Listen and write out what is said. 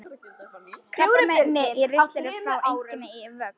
Krabbamein í ristli fer einnig í vöxt.